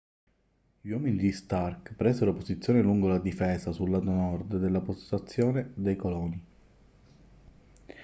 gli uomini di stark presero posizione lungo la difesa sul lato nord della postazione dei coloni